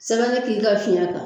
Sɛbɛnin k'i ka fiɲɛ kan